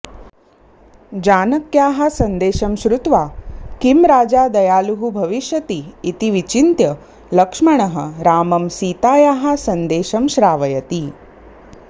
जानक्याः सन्देशं श्रुत्वा किं राजा दयालुः भविष्यति इति विचिन्त्य लक्ष्मणः रामं सीतायाः सन्देशं श्रावयति